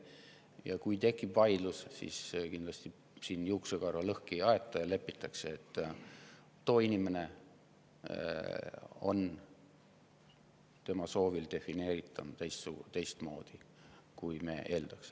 Ja kui tekib vaidlus, siis kindlasti juuksekarva lõhki ajama ei hakata ja lepitakse sellega, et inimene on tema enda soovil defineeritav teistmoodi, kui me seda eeldaks.